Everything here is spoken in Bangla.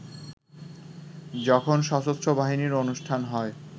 যখন সশস্ত্র বাহিনীর অনুষ্ঠান হয়